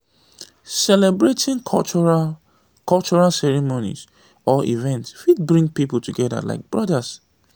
celebrating cultural cultural ceremonies or events fit bring pipo together like brothers